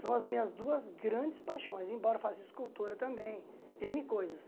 São as minhas duas grandes paixões, embora faça escultura também, êne coisas.